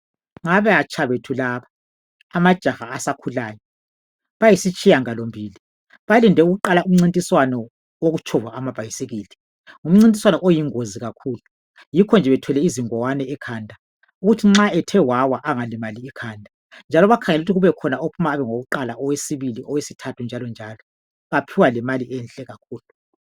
ngabatsha bethu laba amajaha asakhulayo bayisitsiyangalo mbili balinde ukuqala umncintiswano wokutshova amabhayisikili ngumcintiswano oyingozi kakhulu yikho nje bethwele izingwane ekhanda ukuthi nxa ethe wawa engalimali ikhanda njalo bakhangele ukuthi kube khona ophuma abe ngowokuqala owesibili owesithathu njalo baphiwa lemali enhle kakhulu